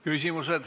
Küsimused.